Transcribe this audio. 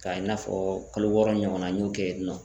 K'a i n'a fɔ kalo wɔɔrɔ ɲɔgɔnna n ɲɔn kɛ yen nɔ.